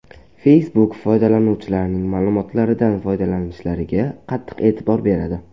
Facebook foydalanuvchilarining ma’lumotlaridan foydalanishlariga qattiq e’tibor beradi.